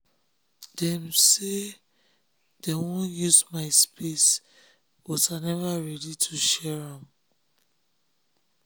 dem say dem wan use my space but i neva ready to share am.